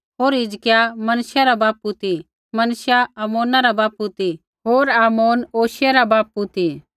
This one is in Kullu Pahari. होर हिजकिय्याह मनश्शिह रा बापू ती मनश्शिह आमोना रा बापू ती होर आमोन योशिय्याह रा बापू ती